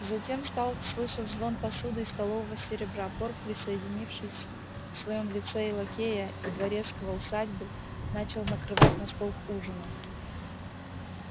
затем стал слышен звон посуды и столового серебра порк соединявший в своём лице и лакея и дворецкого усадьбы начал накрывать на стол к ужину